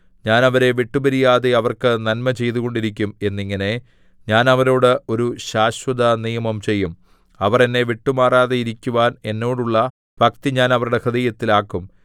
ഞാൻ അവരെ വിട്ടുപിരിയാതെ അവർക്ക് നന്മ ചെയ്തുകൊണ്ടിരിക്കും എന്നിങ്ങനെ ഞാൻ അവരോട് ഒരു ശാശ്വതനിയമം ചെയ്യും അവർ എന്നെ വിട്ടുമാറാതെയിരിക്കുവാൻ എന്നോടുള്ള ഭക്തി ഞാൻ അവരുടെ ഹൃദയത്തിൽ ആക്കും